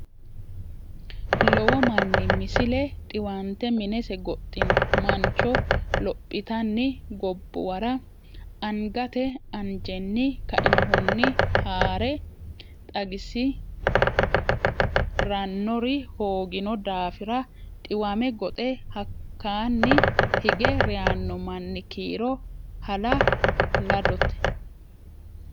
Lowo manni Misile Dhiwante minese goxxino mancho lophitanni gobbuwara angate anjenni kainohunni haa re xagisi rannori hoogino daafira dhiwame goxe hakkaanni hige reyanno manni kiiro hala ladote.